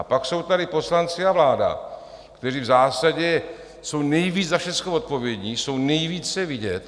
A pak jsou tady poslanci a vláda, kteří v zásadě jsou nejvíc za všechno odpovědní, jsou nejvíce vidět.